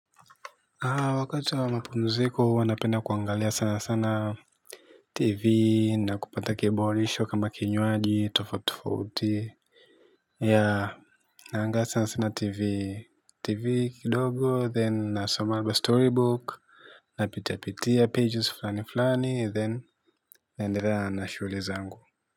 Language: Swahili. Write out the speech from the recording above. Wakati na mapumziko huwa napenda kuangalia sana sana tv na kupata kiburudisho kama kinywaji tofauti tofauti yea angalau sasa sina tv TV kidogo then nasoma storybook napitia pitia pages flani flani then naendelea na shughuli zangu.